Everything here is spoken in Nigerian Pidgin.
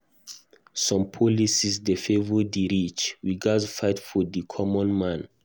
Some policies dey favor di rich; we gatz fight for di common man.